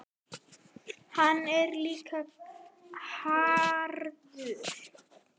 Hann er líka harður.